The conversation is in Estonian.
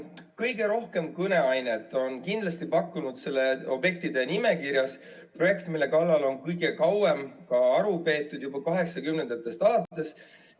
Kõige rohkem kõneainet on pakkunud selles objektide nimekirjas projekt, mille üle on kõige kauem ka aru peetud, juba 1980‑ndatest alates.